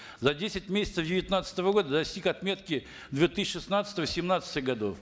за десять месяцев девятнадцатого года достиг отметки две тысячи шестнадцатого семнадцатых годов